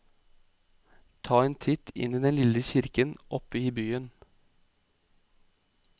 Ta en titt inn i den lille kirken oppe i byen.